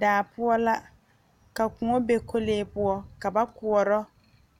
Daa poɔ la ka koɔ be kɔlee poɔ ka ba koɔrɔ